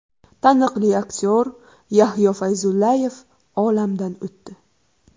Taniqli aktyor Yahyo Fayzullayev olamdan o‘tdi.